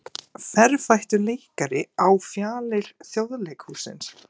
Ferfættur leikari á fjalir Þjóðleikhússins